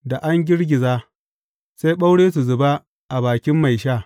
Da an girgiza, sai ɓaure su zuba a bakin mai sha.